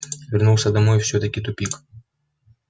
вернулся домой всё-таки тупик